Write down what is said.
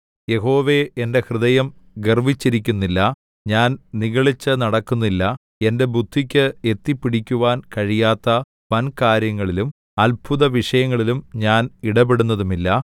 യഹോവേ എന്റെ ഹൃദയം ഗർവ്വിച്ചിരിക്കുന്നില്ല ഞാൻ നിഗളിച്ചുനടക്കുന്നില്ല എന്റെ ബുദ്ധിക്ക് എത്തിപ്പിടിക്കുവാൻ കഴിയാത്ത വൻ കാര്യങ്ങളിലും അത്ഭുതവിഷയങ്ങളിലും ഞാൻ ഇടപെടുന്നതുമില്ല